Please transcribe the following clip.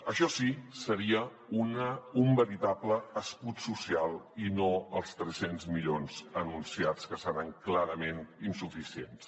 això sí seria un veritable escut social i no els tres cents milions anunciats que seran clarament insuficients